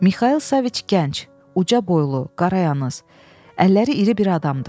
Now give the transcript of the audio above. Mixail Saviç gənc, uca boylu, qarayınız, əlləri iri bir adamdı.